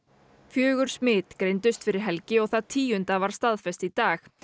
fjögur smit greindust fyrir helgi og það tíunda var staðfest í dag